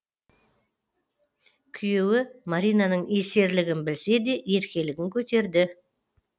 күйеуі маринаның есерлігін білсе де еркелігін көтерді